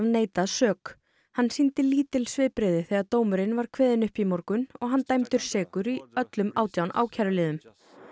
neitað sök hann sýndi lítil svipbrigði þegar dómur var kveðinn upp í morgun og hann dæmdur sekur í öllum átján ákæruliðum